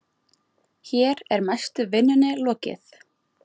Hér er mestu vinnunni lokið.